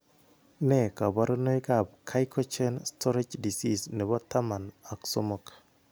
Nee kabarunoikab Gycogen storage disease nebo taman ak somok.